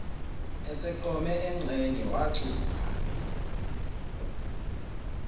eseqome engxenye wacupha